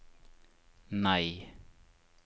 nei